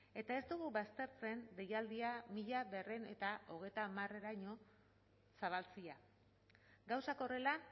eta ez dugu baztertzen deialdia mila berrehun eta hogeita hamareraino zabaltzea gauzak horrela